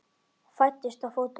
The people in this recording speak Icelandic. Fæddist þá fótur.